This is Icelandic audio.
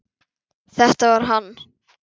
Þetta var hann!